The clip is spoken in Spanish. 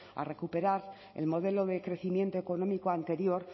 a recuperar el modelo de crecimiento económico anterior